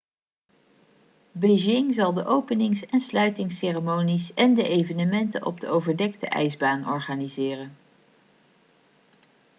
beijing zal de openings en sluitingsceremonies en de evenementen op de overdekte ijsbaan organiseren